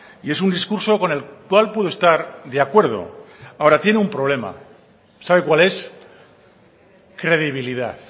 y es un discurso con el cual puedo estar de acuerdo ahora tiene un problema sabe cuál es credibilidad